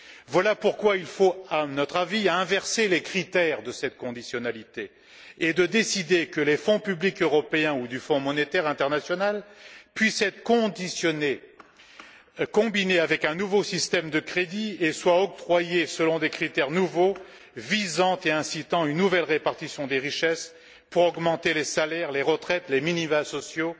Voilà pourquoi il faut, à notre avis, inverser les critères de cette conditionnalité et décider que les fonds publics européens ou du Fonds monétaire international puissent être conditionnés, combinés avec un nouveau système de crédits et soient octroyés selon des critères nouveaux visant et incitant à une nouvelle répartition des richesses pour augmenter les salaires, les retraites, les minima sociaux,